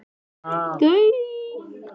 Hvaða áhætta felst í innflutningi á hráu kjöti?